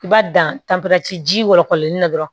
I b'a dan ji wɔlɔkɔlenni na dɔrɔn